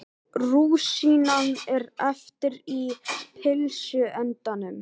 Rúsínan er eftir í pylsuendanum.